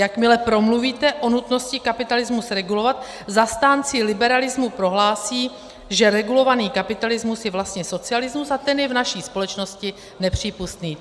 Jakmile promluvíte o nutnosti kapitalismus regulovat, zastánci liberalismu prohlásí, že regulovaný kapitalismus je vlastně socialismus a ten je v naší společnosti nepřípustný."